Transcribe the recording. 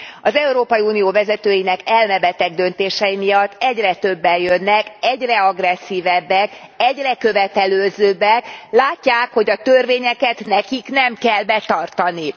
Az Európai Unió vezetőinek elmebeteg döntései miatt egyre többen jönnek, egyre agresszívebbek, egyre követelőzőbbek, látják, hogy a törvényeket nekik nem kell betartani.